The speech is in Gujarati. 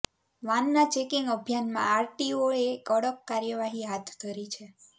વાનના ચેકિંગ અભિયાનમાં આરટીઓએ કડક કાર્યવાહી હાથ ધરી છે